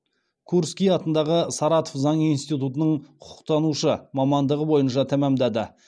курский атындағы саратов заң институтының құқықтанушы мамандығы бойынша тәмамдады